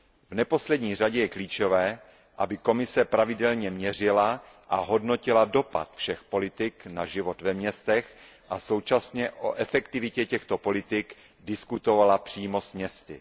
V neposlední řadě je klíčové, aby Komise pravidelně měřila a hodnotila dopad všech politik na život ve městech a současně o efektivitě těchto politik diskutovala přímo s městy.